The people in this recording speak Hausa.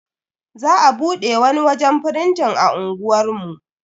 Za a bude wani wajen firintin a unguwar mu.